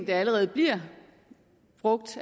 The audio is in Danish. allerede bliver brugt